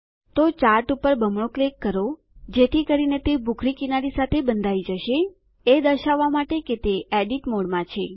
તો ચાર્ટ પર બમણું ક્લિક કરો જેથી કરીને તે ભૂખરી કિનારી સાથે બંધાઈ જાય એ દર્શાવવા માટે કે તે એડિટ મોડમાં છે